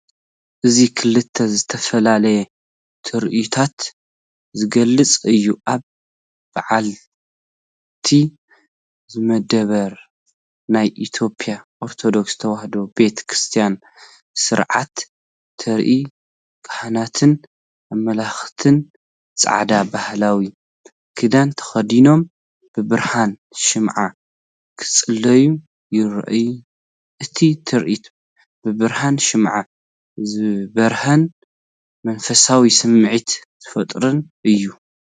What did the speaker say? እዚ ክልተ ዝተፈላለዩ ትርኢታት ዝገልጽ እዩ። ኣብ በዓቲ ዝመደበሩ ናይ ኢትዮጵያ ኦርቶዶክስ ተዋህዶ ቤተ ክርስቲያን ሥርዓት ተርኢ። ካህናትን ኣምለኽትን ጻዕዳ ባህላዊ ክዳን ተኸዲኖም ብብርሃን ሽምዓ ክጽልዩ ይረኣዩ። እቲ ትርኢት ብብርሃን ሽምዓ ዝበርህን መንፈሳዊ ስምዒት ዝፈጥርን እዩ።